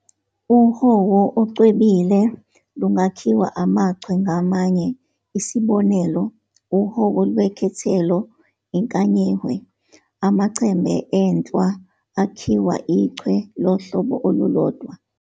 Uhowo okucwebile lungakhiwa amachwe ngamanye, isb. uhowo lwekhethelo inkanyihwe, amachembe enhlwa akhiwa ichwe lohlobo olulodwa.